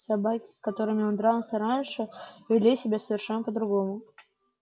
собаки с которыми он дрался раньше вели себя совершенно по другому